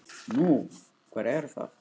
Nú, hver er það?